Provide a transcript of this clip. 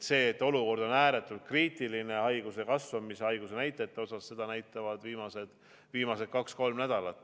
Seda, et olukord on ääretult kriitiline haiguse leviku, haigusenäitajate poolest, näitavad viimased kaks-kolm nädalat.